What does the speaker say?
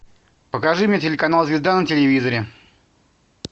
покажи мне телеканал звезда на телевизоре